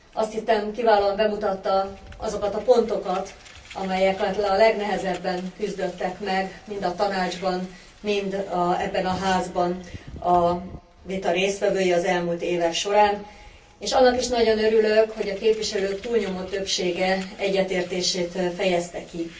Azt hiszem, kiválóan bemutatta azokat a pontokat, amelyekkel a legnehezebben küzdöttek meg mind a Tanácsban, mind ebben a Házban a vita résztvevői az elmúlt évek során, és annak is nagyon örülök, hogy a képviselők túlnyomó többsége egyetértését fejezte ki.